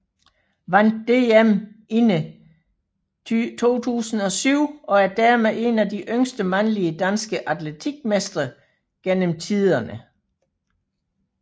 Vandt DM inde 2007 og er dermed en af de yngste mandlige danske atletik mestre gennem tiderne